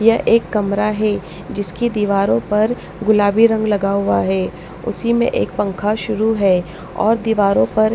यह एक कमरा है जिसकी दीवारों पर गुलाबी रंग लगा हुआ है उसी में एक पंखा शुरू है और दीवारों पर--